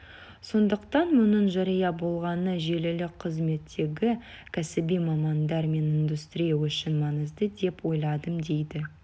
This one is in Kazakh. сондықтан мұның жария болғаны желілік қызметтегі кәсіби мамандар мен индустрия үшін маңызды деп ойладым дейді